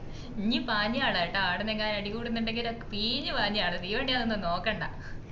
നീ പാഞ്ഞുളാ ട്ടാ ആടന്നെങ്ങാനും അടികൂടുന്നുണ്ടെങ്കി കീഞ്ഞുപാഞ്ഞുളാ തീവണ്ടിയാണ് ന്നൊന്നുംനോക്കണ്ട